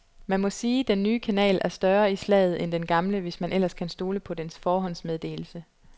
Man må sige, den nye kanal er større i slaget end den gamle, hvis man ellers kan stole på dens forhåndsmeddelelse.